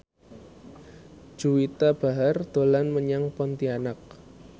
Juwita Bahar dolan menyang Pontianak